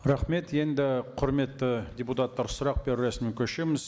рахмет енді құрметті депутаттар сұрақ беру рәсіміне көшеміз